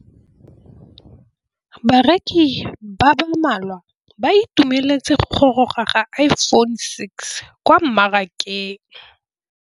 Bareki ba ba malwa ba ituemeletse go gôrôga ga Iphone6 kwa mmarakeng.